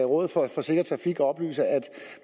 rådet for sikker trafik oplyser at